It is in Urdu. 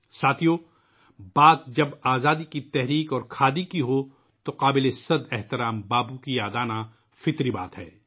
ساتھیو ، جب آزادی کی تحریک اور کھادی کی بات آتی ہے تو پوجیے باپو کو یاد رکھنا فطری بات ہے